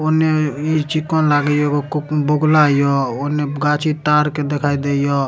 ओने इ चिकन लागे एगो बगुला इयो ओने गाछी तार के दिखाई देइय।